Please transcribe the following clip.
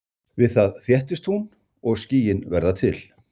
Við það þéttist hún og skýin verða til.